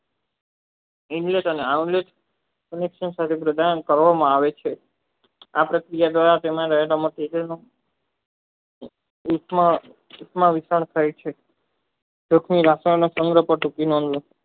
સમસ્ત સનાગ્રહણ કરવામાં આવે છે આ પ્રક્રિયા દ્વારા તેના વર્ગોના છેડો ઉષ્મા રૂપં કરે છે તોતે રાસાયણિક પ્રતિકીમાં સંગ્રહ કરે છે